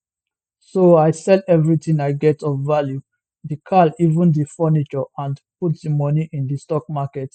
so i sell everything i get of value di car even di furniture and put di money in di stock market